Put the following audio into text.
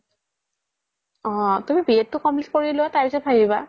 অ তুমি b.ed তো complete কৰি লুৱা তাৰ পিছ্ত ভাবিবা